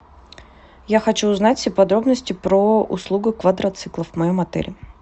я хочу узнать все подробности про услугу квадроциклов в моем отеле